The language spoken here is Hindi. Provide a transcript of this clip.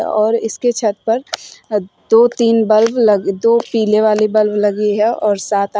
और इसके छत पर दो तीन बल्ब लग दो पीले वाले बल्ब लगी है और सात आ--